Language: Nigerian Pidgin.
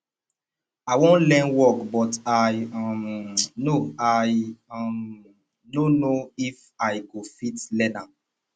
i wan learn work but i um no i um no know if i go fit learn am